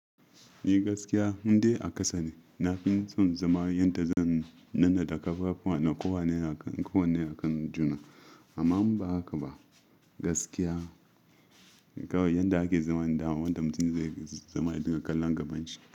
Ni gaskiya, ni dai a kasa ne. Na fi son zama yanda zan nanna da ƙafafuwa na kowane a kan juna. Amma in ba haka ba, gaskiya kawai yanda ake zaman da wanda mutum zai zama ya dinga kallon gaban shi.